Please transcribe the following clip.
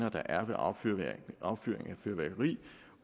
er ved affyring af fyrværkeri